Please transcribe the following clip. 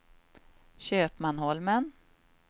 Köpmanholmen